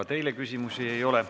Ka teile küsimusi ei ole.